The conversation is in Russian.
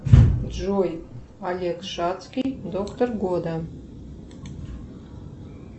джой олег шатский доктор года